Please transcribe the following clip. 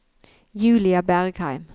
Julia Bergheim